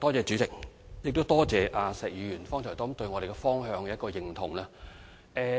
主席，多謝石議員剛才對我們的工作方向表示認同。